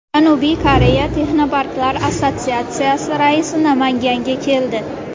Janubiy Koreya Texnoparklar assotsiatsiyasi raisi Namanganga keldi.